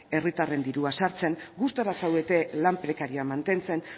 herritarren dirua sartzen gustura zaudete lan prekarioa mantentzen